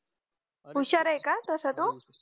हुशार ये का तसा तो